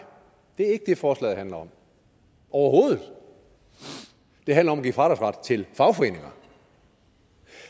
det ikke det forslaget handler om overhovedet det handler om at give fradragsret til medlemmer fagforeninger